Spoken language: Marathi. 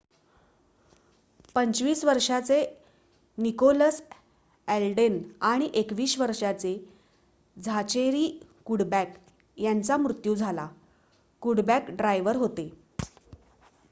25 वर्षाचे निकोलस अल्डेन आणि 21 वर्षाचे झाचेरी कुडबॅक यांचा मृत्यू झाला कुडबॅक ड्रायव्हर होते